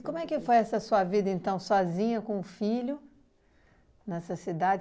como é que foi essa sua vida, então, sozinha com o filho, nessa cidade?